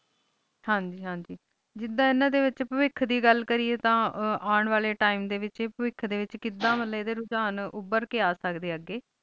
ਹਾਂ ਜੀ ਹਾਂ ਜੀ ਜਿੰਦਾ ਐਨਾ ਵਿਚ ਵਿਖ ਦਾ ਗੱਲ ਕਰੀਏ ਤਾ ਆਉਣ ਵਾਲੇ time ਦੇ ਵਿਚ ਵਿਖ ਦੇ ਵਿਚ ਕਿੱਦਾਂ ਮੁਤਲਿਬ ਰੁਜਾਣ ਉਬਾਰ ਕੇ ਇਹ ਸਕਦੇ ਅਗੇ